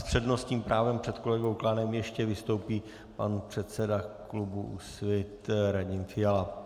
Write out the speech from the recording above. S přednostním právem před kolegou Klánem ještě vystoupí pan předseda klubu Úsvit Radim Fiala.